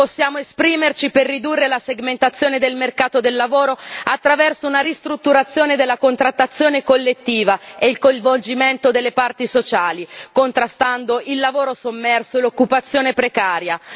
Possiamo esprimerci per ridurre la segmentazione del mercato del lavoro attraverso una ristrutturazione della contrattazione collettiva e il coinvolgimento delle parti sociali, contrastando il lavoro sommerso e l'occupazione precaria.